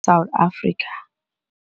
South Africa.